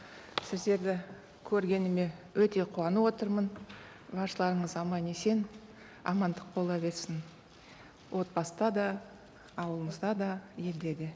сіздерді көргеніме өте қуанып отырмын баршаларыңыз аман есен амандық бола берсін отбасыда да ауылымызда да елде де